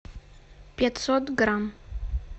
пятьсот грамм